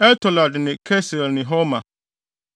El-Tolad ne Kesil ne Horma,